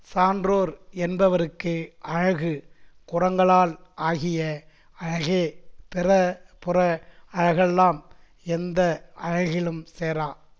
சான்றோர் என்பவருக்கு அழகு குறங்களால் ஆகிய அழகே பிற புற அழகெல்லாம் எந்த அழகிலும் சேரா